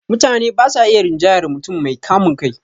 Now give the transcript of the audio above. Mutane ba sa iya rinjayar mutum mai kamun kai